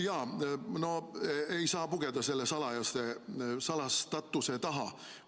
No ei saa pugeda selle salastatuse taha.